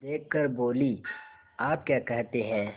देख कर बोलीआप क्या कहते हैं